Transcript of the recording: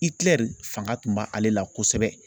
fanga tun bɛ ale la kosɛbɛ.